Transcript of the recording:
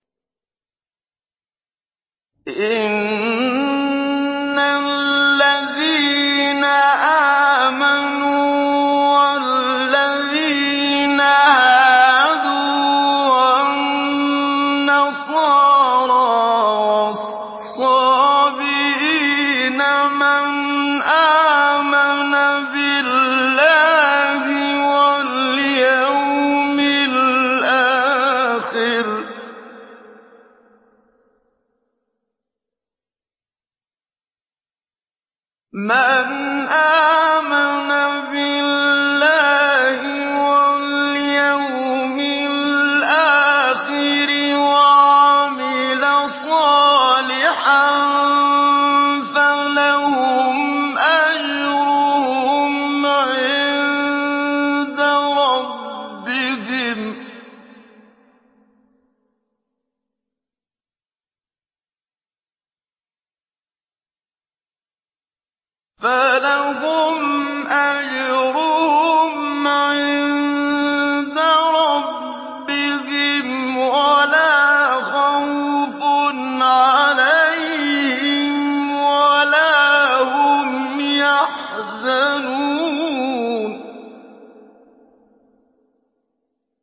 إِنَّ الَّذِينَ آمَنُوا وَالَّذِينَ هَادُوا وَالنَّصَارَىٰ وَالصَّابِئِينَ مَنْ آمَنَ بِاللَّهِ وَالْيَوْمِ الْآخِرِ وَعَمِلَ صَالِحًا فَلَهُمْ أَجْرُهُمْ عِندَ رَبِّهِمْ وَلَا خَوْفٌ عَلَيْهِمْ وَلَا هُمْ يَحْزَنُونَ